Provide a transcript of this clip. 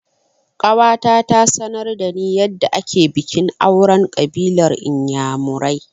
Ƙawata ta sanar da ni yadda ake bikin auren ƙabilar inyamurai